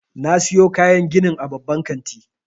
Na siyo kayan ginin a babban kanti.